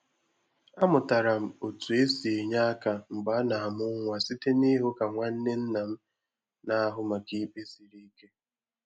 Amụtara m otú e si enye aka mgbe a na-amụ nwa site n'ịhụ ka nwanne nna m na-ahụ maka ikpe siri ike.